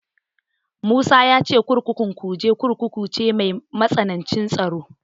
Musa ya ce kurkukun Kuje Kurkuku ce mai matsanancin tsaro.